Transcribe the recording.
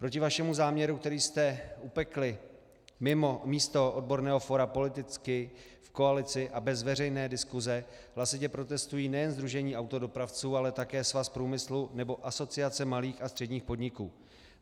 Proti vašemu záměru, který jste upekli mimo místo odborného fóra politicky v koalici a bez veřejné diskuse, hlasitě protestují nejen sdružení autodopravců, ale také Svaz průmyslu nebo Asociace malých a středních podniků.